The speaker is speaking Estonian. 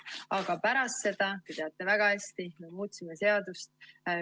Aga pärast seda, te teate väga hästi, me muutsime seadust.